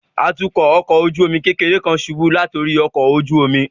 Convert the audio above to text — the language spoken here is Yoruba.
Atukọ ọkọ ojú omi kekere kan ṣubu lati ori ọkọ ojú omi